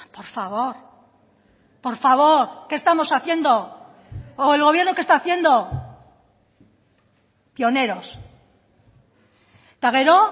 por favor por favor qué estamos haciendo o el gobierno qué está haciendo pioneros eta gero